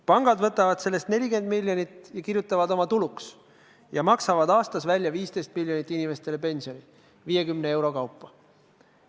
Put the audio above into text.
Pangad võtavad sellest 40 miljonit ja kirjutavad oma tuluks ning maksavad 15 miljonit aastas inimestele pensioni, 50 euro kaupa.